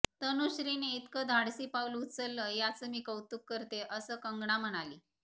तनुश्रीने इतकं धाडसी पाऊल उचललं याचं मी कौतुक करते असं कंगना म्हणाली